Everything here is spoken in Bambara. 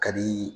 Ka di